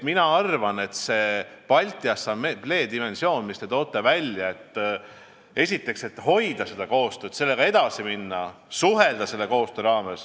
Mina arvan, et Balti Assamblee koostöödimensioon, mille te välja tõite, on väga tähtis, et hoida koostööd, sellega edasi minna ja selle raames suhelda.